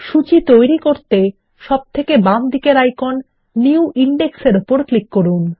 সূচী তৈরি করতে সবচেয়ে বামদিকের আইকনের নিউ ইনডেক্স এর উপর ক্লিক করুন